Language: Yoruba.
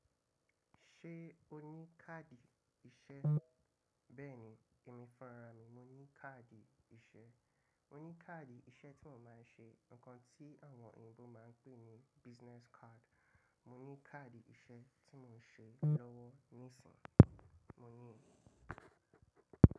Ṣé o ní káàdì iṣẹ́? Bẹ́ẹ̀ni, èmi fúnra mi, mo ní káàdì iṣẹ́. Mo ní káàdì iṣẹ́ tí mo máa ń ṣe, ǹkan tí àwọn òyìnbó máa ń pè ní business card. Mo ní káàdì iṣẹ́ tí mò ń ṣe lọ́wọ́ níìsín, mo ní i.